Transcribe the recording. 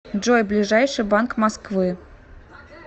джой ближайший банк москвы